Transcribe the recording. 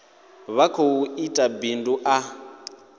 vha khou ita bindu ḽa